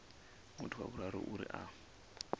muthu wa vhuraru uri a